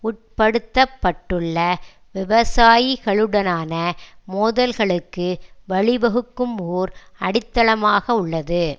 உட்படுத்தப்பட்டுள்ள விவசாயிகளுடனான மோதல்களுக்கு வழி வகுக்கும் ஓர் அடித்தளமாக உள்ளது